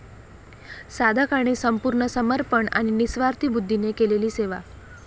साधकाने संपूर्ण समर्पण आणि निस्वार्थी बुद्धीने केलेली सेवा.